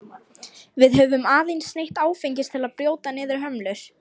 Við höfum aðeins neytt áfengis til að brjóta niður hömlur.